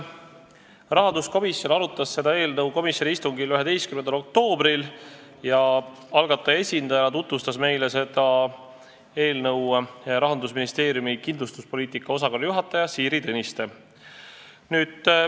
Rahanduskomisjon arutas seda eelnõu komisjoni istungil 11. oktoobril ja algataja esindajana tutvustas meile seda Rahandusministeeriumi kindlustuspoliitika osakonna juhataja Siiri Tõniste.